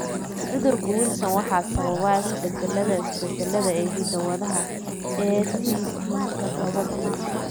Cudurka Wilson waxaa sababa isbeddellada (isbeddellada) ee hidda-wadaha ATP todoba B.